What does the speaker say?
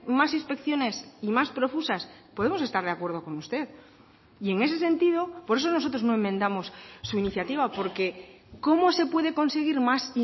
más inspecciones y más profusas podemos estar de acuerdo con usted y en ese sentido por eso nosotros no enmendamos su iniciativa porque cómo se puede conseguir más